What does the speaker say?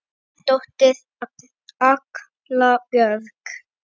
Þín dóttir, Agla Björk.